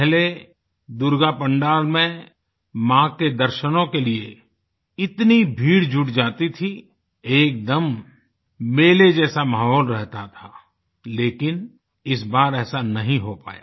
पहले दुर्गा पंडाल में माँ के दर्शनों के लिए इतनी भीड़ जुट जाती थी एकदम मेले जैसा माहौल रहता था लेकिन इस बार ऐसा नही हो पाया